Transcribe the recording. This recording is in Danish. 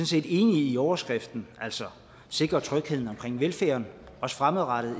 set enige i overskriften altså at sikre trygheden omkring velfærden også fremadrettet